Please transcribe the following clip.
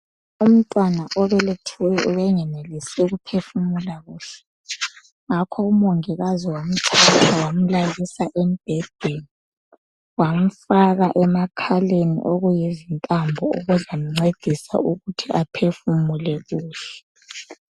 Umntwana obelethiweyo ubengenelisi ukuphefumula kuhle ngakho umongikazi wamthatha wamlalisa embhedeni, wamfaka emakhaleni okuyizintambo okuzamncedisa ukuthi aphefumule kuhle.